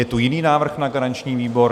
Je tu jiný návrh na garanční výbor?